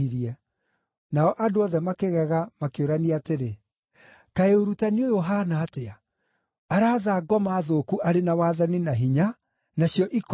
Nao andũ othe makĩgega makĩũrania atĩrĩ, “Kaĩ ũrutani ũyũ ũhaana atĩa? Araatha ngoma thũku arĩ na wathani na hinya, nacio ikoima!”